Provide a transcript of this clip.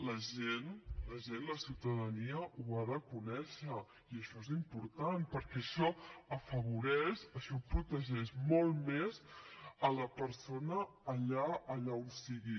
la gent la ciutadania ho ha de conèixer i això és important perquè això afavoreix això protegeix molt més la persona allà on sigui